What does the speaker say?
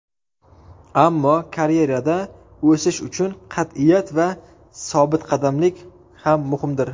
Ammo karyerada o‘sish uchun qat’iyat va sobitqadamlik ham muhimdir.